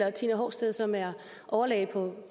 at tina horsted som er overlæge på